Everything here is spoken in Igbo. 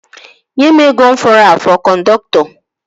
Nye mụ ego m fọrọ afọ kọndọktọ!